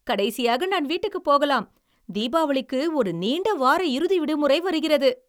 கடைசியாக நான் வீட்டுக்குப் போகலாம். தீபாவளிக்கு ஒரு நீண்ட வார இறுதி விடுமுறை வருகிறது.